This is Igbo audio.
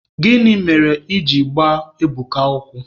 Gịnị mere I ji gbaa Ebuka ụkwụ?